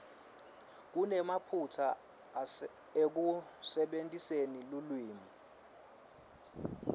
kunemaphutsa ekusebentiseni lulwimi